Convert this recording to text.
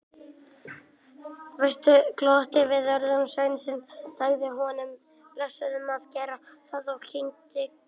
Vestmann glotti við orðum sveinsins, sagði honum blessuðum að gera það og kinkaði kolli.